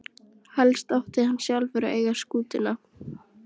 Helst átti hann sjálfur að eiga skútuna.